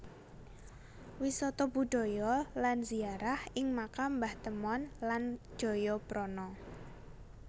Wisata budaya lan ziarah ing Makam Mbah Temon lan Jayaprana